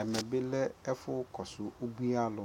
ɛmɛ bi lɛ ɛƒʋ kɔsʋ ʋbʋi alʋ,